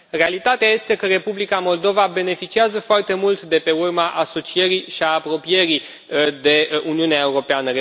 Realitatea este că Republica Moldova beneficiază foarte mult de pe urma asocierii și a apropierii de Uniunea Europeană.